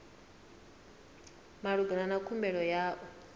malugana na khumbelo ya u